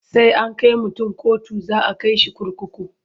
Sai an kai mutun kotu za a kai shi kurkuku.